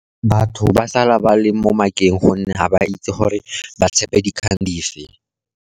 Batho ba sala ba le mo makeng, gonne ga ba itse gore ba tshepe dikgang dife.